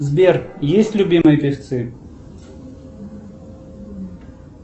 сбер есть любимые певцы